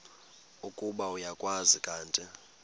ukuba uyakwazi kanti